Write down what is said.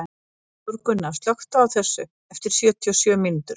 Þórgunna, slökktu á þessu eftir sjötíu og sjö mínútur.